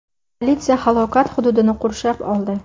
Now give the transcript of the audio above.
Politsiya halokat hududini qurshab oldi.